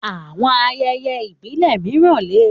Àwọn ayẹyẹ ìbílẹ̀ mìíràn lè